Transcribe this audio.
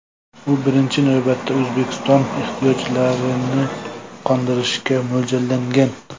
U birinchi navbatda O‘zbekiston ehtiyojlarini qondirishga mo‘ljallangan.